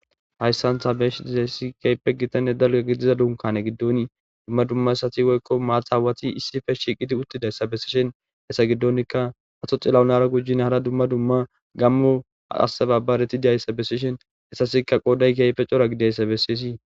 hayssantha beesh dizeessi keype gitanne dalga gidiza dunkane giddoni dumma dumma essati woykko maathaawati issife shiiqiti uttidayssa besishen hessa giddonikka hatho xillawunara gujin hara dumma dumma gammo assababareti diyayssa besishen hessasikka qooday keype cora gidayssa bessei